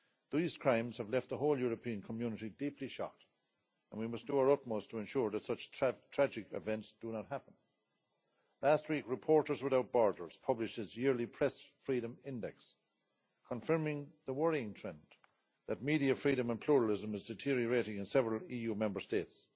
These crimes have left the whole European Community deeply shocked and we must do our utmost to ensure that such tragic events do not happen. Last week Reporters Without Borders published its yearly Press Freedom Index, confirming the worrying trend that media freedom and pluralism is deteriorating in several EU Member States.